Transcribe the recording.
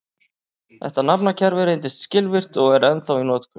Þetta nafnakerfi reyndist skilvirkt og er ennþá í notkun.